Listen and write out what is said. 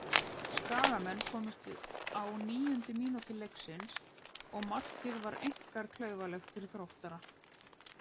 Skagamenn komust yfir á níundu mínútu leiksins og markið var einkar klaufalegt fyrir Þróttara.